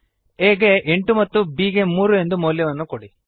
aಗೆ ಎಂಟು ಮತ್ತು b ಗೆ ಮೂರು ಎಂದು ಮೌಲ್ಯಗಳನ್ನು ಕೊಡಿ